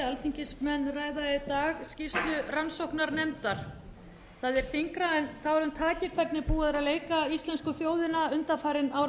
dag skýrslu rannsóknarnefndar það er þyngra en tárum taki hvernig búið er að leika íslensku þjóðina undanfarinn áratug